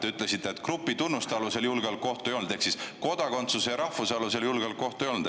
Te ütlesite, et grupitunnuse alusel julgeolekuohtu ei olnud ehk kodakondsuse ja rahvuse alusel julgeolekuohtu ei olnud.